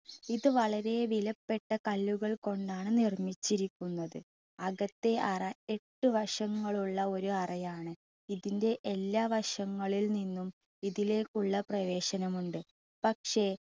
ഇത് വളരെ വിലപ്പെട്ട കല്ലുകൾ കൊണ്ടാണ് നിർമിച്ചിരിക്കുന്നത്. അകത്തെ അറ എട്ട് വശങ്ങൾ ഉള്ള ഒരു അറയാണ്. ഇതിൻ്റെ എല്ലാ വശങ്ങളിൽ നിന്നും ഇതിലേക്കുള്ള പ്രവേശനം ഉണ്ട്. പക്ഷെ